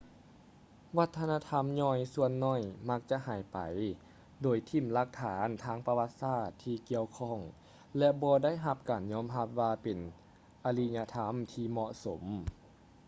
ວັດທະນະທຳຍ່ອຍສ່ວນໜ້ອຍມັກຈະຫາຍໄປໂດຍຖິ້ມຫຼັກຖານທາງປະຫວັດສາດທີ່ກ່ຽວຂ້ອງ ແລະ ບໍ່ໄດ້ຮັບການຍອມຮັບວ່າເປັນອະລິຍະທໍາທີ່ເໝາະສົມ